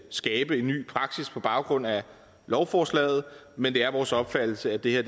skabe en ny praksis på baggrund af lovforslaget men det er vores opfattelse at det her